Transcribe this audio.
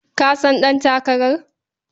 Ka san ɗantakarar?